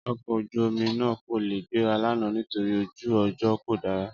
Ọkọ̀ ojú-omi náà kò lè gbéra lánàá nítorí ojú ọjọ́ kò dára